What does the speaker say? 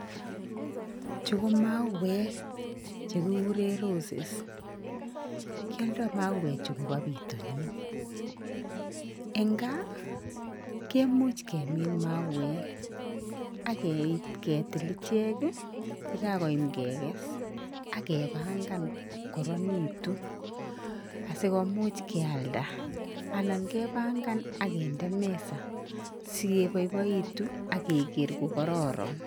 Chu ko mauek chekikuren roses, kioldo mauechu koba pitonin en gaa kemuch kemin mauek ak kei ketil ichek yekakoyam kekes ak kepangan kokorinitu asikimuch kialda anan kepangan ak kinde meza sigeboiboitun ak keker kokororon.